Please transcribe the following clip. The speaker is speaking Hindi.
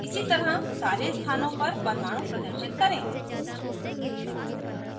इसी तरह सारे स्थानों पर परमाणु प्रदर्शित करें